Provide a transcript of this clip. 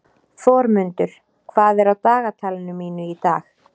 Þormundur, hvað er á dagatalinu mínu í dag?